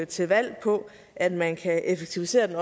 til valg på at man kan effektivisere den